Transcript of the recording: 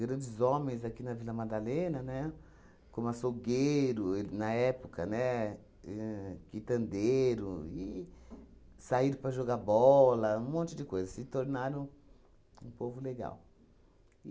grandes homens aqui na Vila Madalena, né, como açougueiro, e na época, né, ahn quitandeiro e, saíram para jogar bola, um monte de coisa, se tornaram um povo legal.